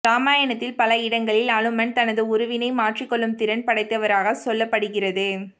இராமயணத்தில் பல இடங்களில் அனுமன் தனது உருவினை மாற்றிக் கொள்ளும் திறன் படைத்தவராக சொல்லப்படுகிறது